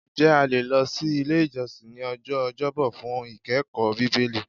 Ǹjẹ́ a le lọ si ile ijọsin ní ọjọ́ ọjọbọ fun ikẹkọọ Bibeli?